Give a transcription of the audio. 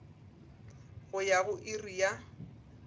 go ya go iri ya